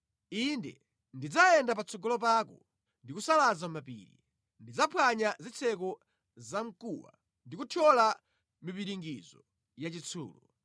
Ine ndidzayenda patsogolo pako, ndi kusalaza mapiri; ndidzaphwanya zitseko za mkuwa ndi kuthyola mipiringidzo ya chitsulo.